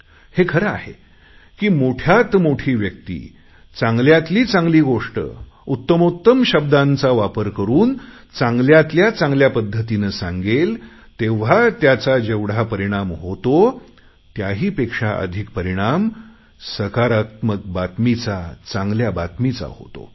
हे खरं आहे की मोठ्यात मोठी व्यक्ती चांगल्यातली चांगली गोष्ट उत्तमोत्तम शब्दांचा वापर करुन चांगल्यातल्या चांगल्या पध्दतीने सांगितली जाईल तेव्हा त्याचा जेवढा परिणाम होतो त्याहीपेक्षा अधिक परिणाम सकारात्मक बातमीचा चांगल्या बातमीचा होतो